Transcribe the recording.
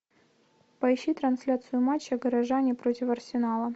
поищи трансляцию матча горожане против арсенала